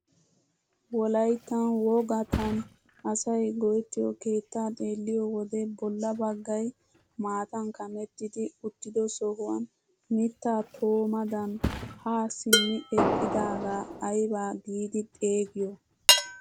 Wolayttan wogattan asay go"ettiyoo keettaa xeelliyoo wode bolla baggay maatan kamettidi uttido sohuwaan mittaa toomadan haa simmi eqqidagaa aybaa giidi xeegiyo?